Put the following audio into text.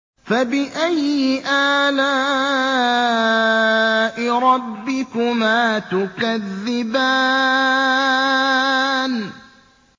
فَبِأَيِّ آلَاءِ رَبِّكُمَا تُكَذِّبَانِ